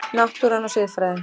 Náttúran og siðfræðin